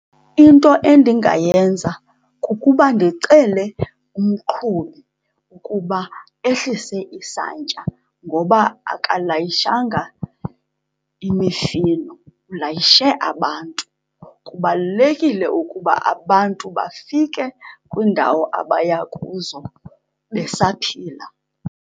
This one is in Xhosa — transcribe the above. Into endingayenza kukuba ndicele umqhubi ukuba ehlise isantya ngoba akalayishanga imishini, ulayishe abantu. Kubalulekile ukuba abantu bafike kwiindawo abaya kuzo besaphila.